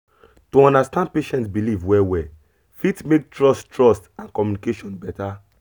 to understand patient belief well well fit make trust trust and communication better